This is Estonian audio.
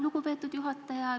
Lugupeetud juhataja!